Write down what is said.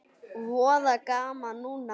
Voða gaman núna.